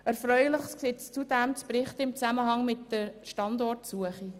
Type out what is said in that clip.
Erfreuliches gibt es zudem im Zusammenhang mit der Standortsuche zu berichten.